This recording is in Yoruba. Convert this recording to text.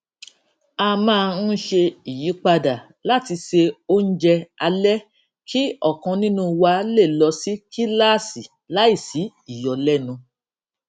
a máa ń ṣe ìyípadà láti se oúnjẹ alé kí òkan nínú wa lè lọ sí kíláàsì láìsí ìyọlénu